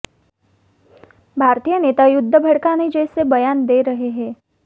भारतीय नेता युद्ध भड़काने जैसे बयान दे रहे हैं